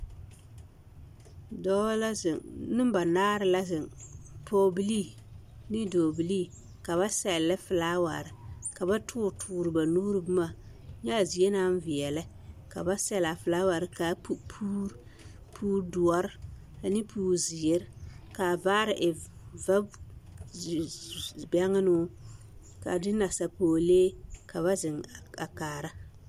Dɔɔ la zeŋ nembanaare la zeŋ pɔgebilii ne dɔɔbilii ka ba sɛllɛ filaaware ka ba toore toore ba nuure boma nyɛ a zie naŋ veɛlɛ ka ba sɛlle a filaaware ka pu puuri puuridoɔre ane puurizeere ka a vaare e vaze bɛŋnoo a de nasapɔglee ka ba zeŋ a kaara.